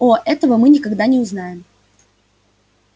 о этого мы никогда не узнаем